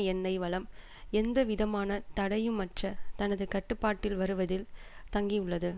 எண்ணெய் வளம் எந்தவிதமான தடையுமற்ற தனது கட்டுப்பாட்டில் வருவதில் தங்கியுள்ளது